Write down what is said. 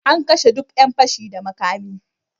An kashe duk yan fashi da makami.